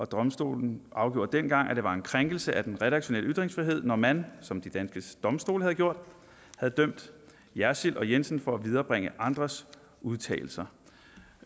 domstolen afgjorde dengang at det var en krænkelse af den redaktionelle ytringsfrihed når man som de danske domstole havde gjort havde dømt jersild og jensen for at viderebringe andres udtalelser